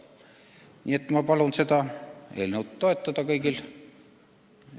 Nii et ma palun seda eelnõu toetada kõigil.